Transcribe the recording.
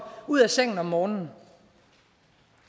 ud af sengen om morgenen